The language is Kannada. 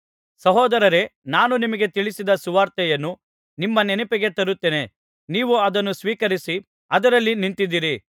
ಸಹೋದರರೇ ನಾನು ನಿಮಗೆ ತಿಳಿಸಿದ ಸುವಾರ್ತೆಯನ್ನು ನಿಮ್ಮ ನೆನಪಿಗೆ ತರುತ್ತೇನೆ ನೀವು ಅದನ್ನು ಸ್ವೀಕರಿಸಿ ಅದರಲ್ಲಿ ನಿಂತಿದ್ದೀರಿ